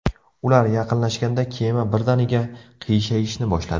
Ular yaqinlashganda kema birdaniga qiyshayishni boshladi.